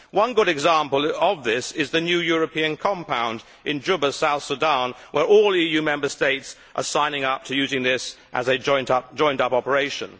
One good example of this is the new European Compound in Juba, South Sudan, where all EU Member States are signing up to using this as a joined up operation.